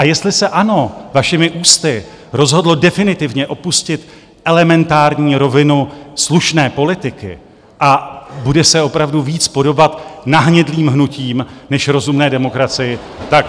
A jestli se ANO vašimi ústy rozhodlo definitivně opustit elementární rovinu slušné politiky a bude se opravdu víc podobat nahnědlým hnutím než rozumné demokracii, tak...